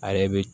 A yɛrɛ bi